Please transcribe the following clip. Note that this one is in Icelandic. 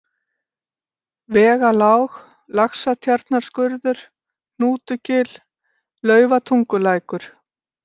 Vegalág, Laxatjarnarskurður, Hnútugil, Laufatungulækur